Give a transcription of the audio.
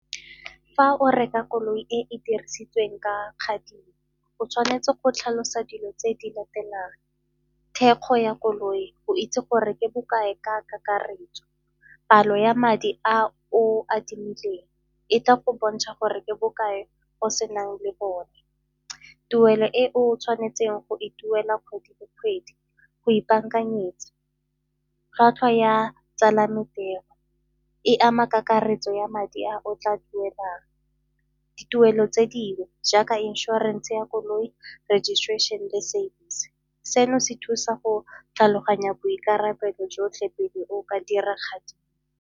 Fa o reka koloi e e dirisitsweng ka o tshwanetse go tlhalosa dilo tse di latelang, thekgo ya koloi go itse gore ke bokae ka kakaretso, palo ya madi a o adimileng e tla go bontsha gore ke bokae go senang le bone, tuelo e o tshwanetseng go e duela kgwedi le kgwedi go ipakanyetsa, tlhwatlhwa ya tsalano ke e ama kakaretso ya madi a o tla duelang, dituelo tse dingwe jaaka inšorense ya koloi registration le service. Seno se thusa go tlhaloganya boikarabelo jotlhe pele o ka dira kadimo.